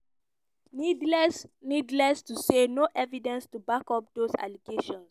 needless needless to say no evidence to back up dose allegations.